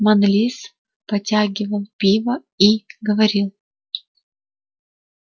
манлис потягивал пиво и говорил